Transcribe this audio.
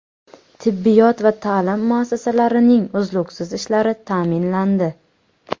Tibbiyot va ta’lim muassasalarining uzluksiz ishlashi ta’minlandi.